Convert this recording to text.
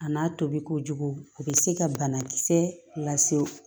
A n'a tobi kojugu a be se ka banakisɛ lase